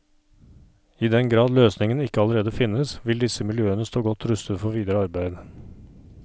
I den grad løsningen ikke allerede finnes, vil disse miljøene stå godt rustet for videre arbeid.